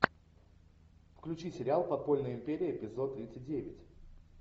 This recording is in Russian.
включи сериал подпольная империя эпизод тридцать девять